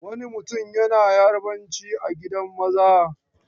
Wani mutum yana Yarabanci a gidan maza.